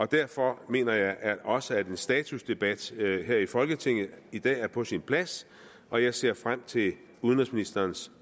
derfor mener jeg også at en statusdebat her i folketinget i dag er på sin plads og jeg ser frem til udenrigsministerens